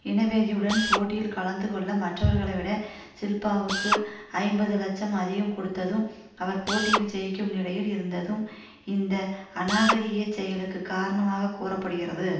இனவெறியுடன் போட்டியில் கலந்து கொள்ள மற்றவர்களைவிட ஷில்பாவுக்கு ஐம்பது லட்சம் அதிகம் கொடுத்ததும் அவர் போட்டியில் ஜெயிக்கும் நிலையில் இருந்ததும் இந்த அநாகரிக செயலுக்கு காரணமாக கூற படுகிறது